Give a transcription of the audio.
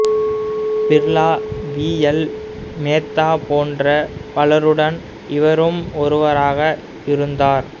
Birla V L Mehta போன்ற பலருடன் இவரும் ஒருவராக இருந்தார்